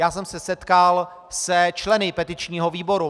Já jsem se setkal se členy petičního výboru.